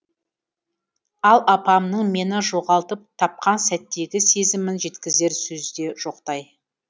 ал апамның мені жоғалтып тапқан сәттегі сезімін жеткізер сөз де жоқтай